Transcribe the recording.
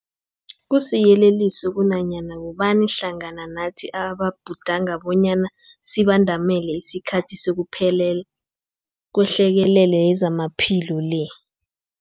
Kusiyeleliso kunanyana bobani hlangana nathi ababhudanga bonyana sibandamele isikhathi sokuphela kwehlekelele yezamaphilo le.